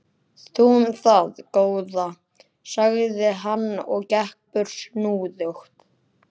Þú um það, góða, sagði hann og gekk burt snúðugt.